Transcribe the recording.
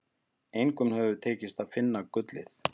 Engum hefur tekist að finna gullið.